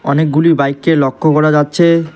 অনেকগুলি বাইককে লক্ষ্য করা যাচ্ছে।